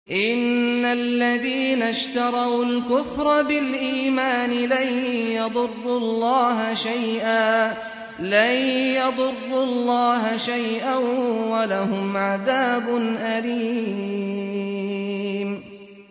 إِنَّ الَّذِينَ اشْتَرَوُا الْكُفْرَ بِالْإِيمَانِ لَن يَضُرُّوا اللَّهَ شَيْئًا وَلَهُمْ عَذَابٌ أَلِيمٌ